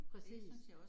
Præcis